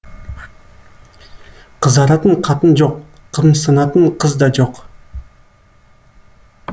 қызаратын қатын жоқ қымсынатын қыз да жоқ